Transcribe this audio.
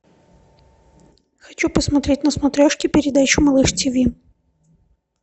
хочу посмотреть на смотрешке передачу малыш тиви